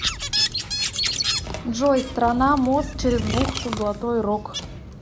джой страна мост через бухту золотой рог